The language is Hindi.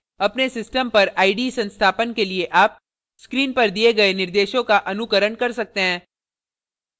अपने system पर ide संस्थापन के लिए आप onscreen पर दिये गए निर्देशों का अनुकरण कर सकते हैं